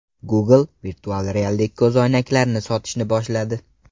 Google virtual reallik ko‘zoynaklarini sotishni boshladi.